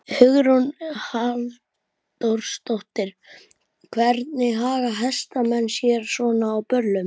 Hugrún Halldórsdóttir: Hvernig haga hestamenn sér svona á böllum?